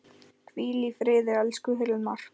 Hvíl í friði, elsku Hilmar.